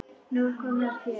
Nú er komið að þér.